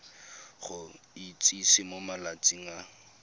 go itsise mo malatsing a